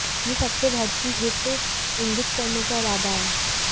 यह सबसे बढ़ती हिट इंगित करने का इरादा है